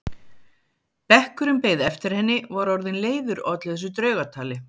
Bekkurinn beið eftir henni og var orðinn leiður á öllu þessu draugatali.